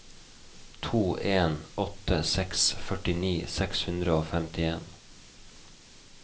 to en åtte seks førtini seks hundre og femtien